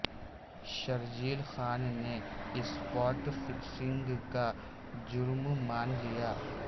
شرجیل خان نے spot fixing کا جرم مان لیا